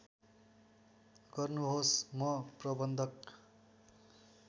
गर्नुहोस् म प्रबन्धक